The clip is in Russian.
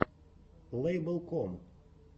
лэйбл ком